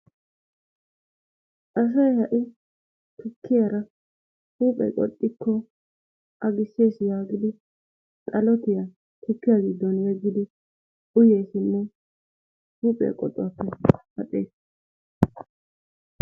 Asay ha'i tukkiyaara huuphee qoxxikko agisses yaagidi xalottiya tukkiya giddon yeggidi uyeesinne huuphiya qoxuwaappe paxaas.